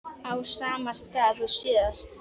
Á sama stað og síðast.